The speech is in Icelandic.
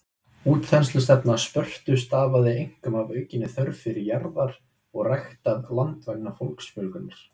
Útþenslustefna Spörtu stafaði einkum af aukinni þörf fyrir jarðir og ræktað land vegna fólksfjölgunar.